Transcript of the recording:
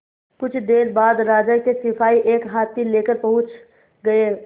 कुछ देर बाद राजा के सिपाही एक हाथी लेकर पहुंच गए